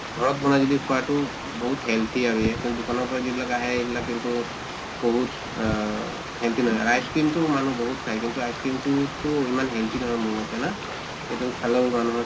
ঘৰত বনাই যদি খোৱাটো বহুত healthy আৰু এয়া আৰু দোকানৰ পৰা যিবিলাক আহে সেইবিলাক কিন্তু বহুত আহ healthy নহয় আৰু ice cream তো মানুহ বহুত খায় কিন্তু ice cream তো তো ইমান healthy নহয় মোৰ মতে না? এইটো খালেও মানুহৰ